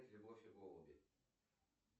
любовь и голуби